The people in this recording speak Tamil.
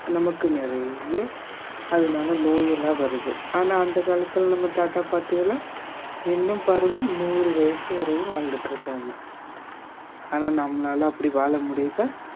நமக்கு நிறைய அதனால நோயெல்லாம் வருது ஆனா அந்த காலத்துல நம்ம தாத்தா பாட்டி எல்லாம் இன்னும் பாருங்க நூறு வயசு வரையும் வாழ்ந்துட்டு இருக்காங்க ஆனா நம்மளால அப்படி வாழ முடியதா